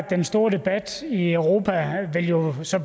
den store debat i europa jo så